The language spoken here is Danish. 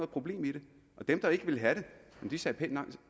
problem i det og dem der ikke ville have det sagde pænt